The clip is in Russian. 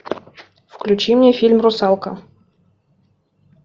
включи мне фильм русалка